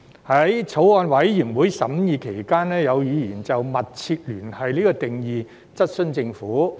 在法案委員會審議期間，有議員就"密切聯繫"的定義質詢政府。